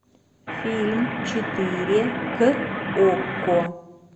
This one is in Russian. фильм четыре к окко